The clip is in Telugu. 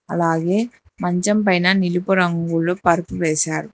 అలాగే మంచం పైన నిలుపు రంగులో పరుపు వేశారు.